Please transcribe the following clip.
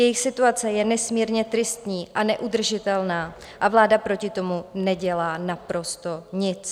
Jejich situace je nesmírně tristní a neudržitelná a vláda proti tomu nedělá naprosto nic.